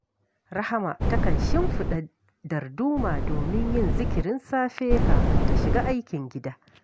Rahama takan shimfiɗa darduma domin yin zikirin safe kafin ta shiga aikin gida